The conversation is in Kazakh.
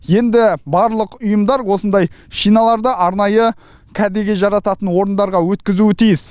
енді барлық ұйымдар осындай шиналарды арнайы кәдеге жарататын орындарға өткізуі тиіс